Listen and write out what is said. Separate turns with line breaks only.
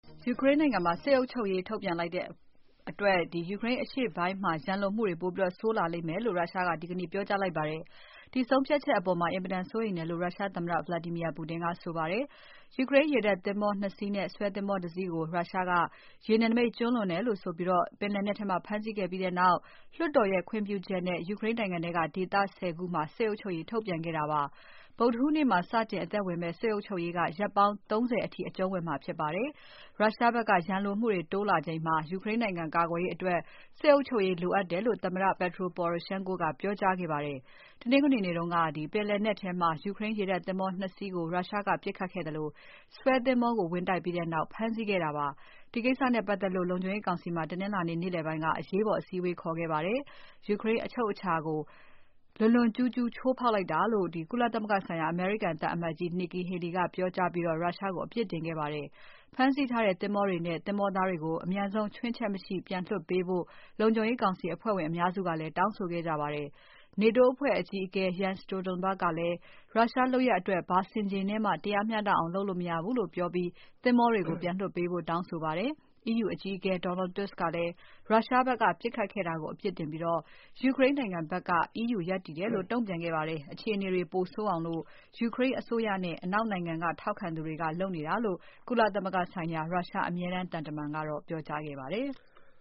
ယူကရိန်းနိုင်ငံမှာ စစ်အုပ်ချုပ်ရေးထုတ်ပြန်လိုက်တဲ့အတွက် ယူကရိန်းအရှေ့ပိုင်းမှာ ရန်လိုမှုတွေပိုဆိုးလာလိမ့်မယ်လို့ ရုရှားက ဒီကနေ့ ပြောကြားလိုက်ပါတယ်။ ယူကရိန်းရေတပ်သင်္ဘော ၂ စီးနဲ့ဆွဲသင်္ဘောတစီးကို ရုရှားက ရေနယ်နိမိတ်ကျူးလွန်တယ်လို့ဆိုပြီး ပင်လယ်နက်ထဲမှာ ဖမ်းဆီးခဲ့ပြီးနောက် လွှတ်တော်ရဲ့ခွင့်ပြုချက်နဲ့ ယူကရိန်းနိုင်ငံထဲက ဒေသ ၁၀ ခုမှာ စစ်အုပ်ချုပ်ရေးထုတ်ပြန်ခဲ့တာပါတယ်။ ဗုဒ္ဓဟူးနေ့မှာ စတင်အသက်ဝင်မယ့် စစ်အုပ်ချုပ်ရေးက ရက်ပေါင်း ၃၀ အထိအကျုံးဝင်မှာဖြစ်ပါတယ်။ ရုရှားဖက်က ရန်လိုမှုတွေ တိုးလာချိန်မှာ ယူကရိန်းနိုင်ငံကာကွယ်ရေးအတွက် စစ်အုပ်ချုပ်ရေးလိုအပ်တယ်လို့ သမ္မတ Petro Poroshenko ကပြောကြားခဲ့ပါတယ်။ တနင်္ဂနွေနေ့တုန်းက ပင်လယ်နက်ထဲမှာ ယူကရိန်းရေတပ်သင်္ဘော ၂ စီးကို ရုရှားကပစ်ခတ်ခဲ့သလို ဆွဲသင်္ဘောကို ဝင်တိုက်ပြီးနောက် ဖမ်းဆီးခဲ့တာဖြစ်ပါတယ်။ ဒီကိစ္စနဲ့ပါတ်သက်လို့ လုံခြုံရေးကောင်စီမှာ တနင်္လာနေ့ နေ့လည်ပိုင်းက အရေးပေါ် အစည်းအဝေးခေါ်ခဲ့ပါတယ်။ ယူကရိန်းအချုပ်အခြာကို လွန်လွန်ကျူးကျူး ချိုးဖောက်လိုက်တာဖြစ်တယ်လို့ ကုလသမဂ္ဂဆိုင်ရာ အမေရိကန်သံအမတ်ကြီး Nikki Haley ကပြောကြားပြီး ရုရှားကို အပြစ်တင်ခဲ့ပါတယ်။ ဖမ်းဆီးထားတဲ့သင်္ဘောတွေနဲ့ သင်္ဘောသားတွေကို အပြန်ဆုံးချွင်းချက်မရှိပြန်လွှတ်ပေးဖို့ လုံခြုံရေးကောင်စီ အဖွဲ့ဝင်အများစုက တောင်းဆိုခဲ့ကြပါတယ်။ နေတိုးအဖွဲ့အကြီးအကဲ Jens Stoltenberg ကလည်း ရုရှားလုပ်ရပ်အတွက် ဘာဆင်ခြေနဲ့မှ တရားမျှတအောင် လုပ်လို့မရဘုူးလို့ပြောပြီး သင်္ဘောတွေကို ပြန်လွှတ်ပေးဖို့ တောင်းဆိုပါတယ်။ EU အကြီးအကဲ Donald Tusk ကလည်း ရုရှားဖက်က ပစ်ခတ်ခဲ့တာကို အပြစ်တင်ပြီး ယူကရိန်းနိုင်ငံဖက်က EU ရပ်တည်တယ်လို့ တုံ့ပြန်ခဲ့ပါတယ်။ အခြေအနေတွေပိုဆိုးအောင် ယူကရိန်းအစိုးရနဲ့ အနောက်နိုင်ငံက ထောက်ခံသူတွေက လုပ်နေတာလို့ ကုလသမဂ္ဂဆိုင်ရာ ရုရှား အမြဲတမ်းသံတမန်က ပြောကြားခဲ့ပါတယ်။